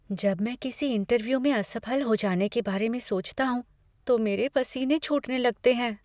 जब मैं किसी इंटरव्यू में असफल हो जाने के बारे में सोचता हूँ तो मेरे पसीने छूटने लगते हैं।